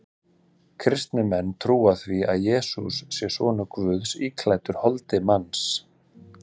Kristnir menn trúa því að Jesús sé sonur Guðs íklæddur holdi manns.